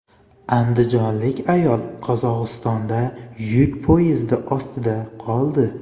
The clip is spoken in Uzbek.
Andijonlik ayol Qozog‘istonda yuk poyezdi ostida qoldi.